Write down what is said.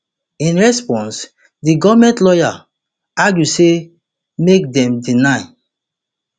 in response di goment lawyers argue say make dem deny